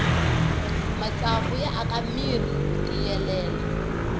matsavu ya aka mirhi wu tiyelela